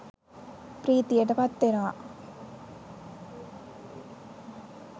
ප්‍රීතියට පත්වෙනවා.